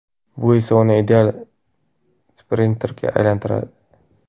Bu esa uni ideal sprinterga aylantiradi.